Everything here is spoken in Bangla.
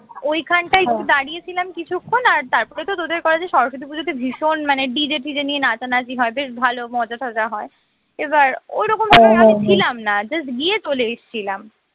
ওই খানটাই একটু দাঁড়িয়ে ছিলাম কিচ্ছুক্ষন আর তারপরে তো তোদের কলেজে সরস্বতী পুজোতে ভীষণ মানে DJ ফিজে নিয়ে নাচানাচি হয় বেশ ভালো মজা টজা হয়এবার ওই রকম আমি ছিলাম না just গিয়ে চলে এসেছিলাম